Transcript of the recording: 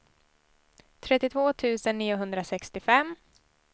trettiotvå tusen niohundrasextiofem